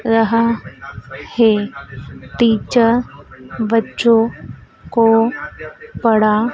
रहा है टीचर बच्चों को पढ़ा--